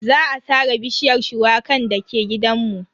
Za a sare bishiyar shuwakan dake gidanmu.